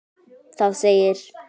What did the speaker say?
Það segir: